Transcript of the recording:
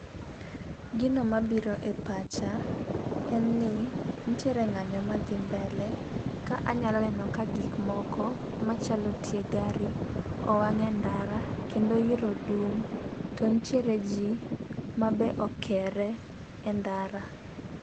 Gino mabiro e pacha en ni ntiere ng'anyo madhi mbele . Ka anyalo neno ka gik moko machalo tie gari owang e ndara kendo iro dum to ntiere ji mabe okere e ndara.